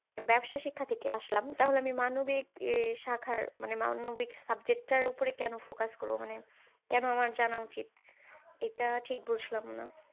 ব্যবসা শিক্ষা থেকে আসলাম, তাহলে আমি মানবিক ই শাখার মানে মানবিক subject টার উপরে কেন focus করবো? মানে কেন আমার জানা উচিত? এটা ঠিক বুঝলাম না।